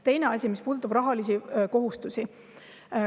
Teine asi, mis puudutab rahalisi kohustusi.